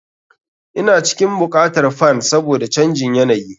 Ina cikin buƙatar fan saboda canjin yanayi.